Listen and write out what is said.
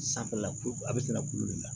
Sanfɛla ko a bɛ se ka kulo de la